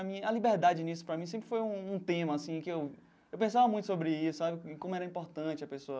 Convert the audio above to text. A liberdade nisso para mim sempre foi um um tema assim que eu eu pensava muito sobre isso sabe, em como era importante a pessoa...